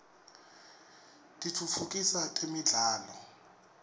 kitfutfukisa temidlalo